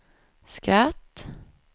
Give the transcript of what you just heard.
skratt